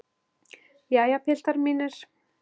Jæja, piltar mínir!